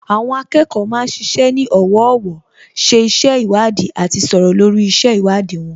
Àwọn akẹ́kọ̀ọ́ ma ń ṣiṣẹ́ ní ọ̀wọ̀ọ̀wọ́, ṣe iṣẹ́ ìwádìí àti sọ̀rọ̀ lórí iṣẹ́ ìwádìí wọn